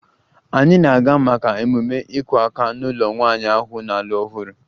Anyị na-aga maka ememe "iku aka" n'ụlọ nwanyị ahụ na-alụ ọhụrụ"